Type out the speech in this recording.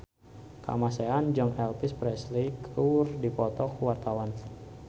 Kamasean jeung Elvis Presley keur dipoto ku wartawan